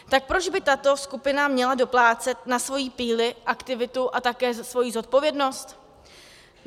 Tak proč by tato skupina měla doplácet na svoji píli, aktivitu a také svoji zodpovědnost?